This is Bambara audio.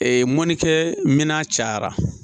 mɔnikɛ minɛn cayara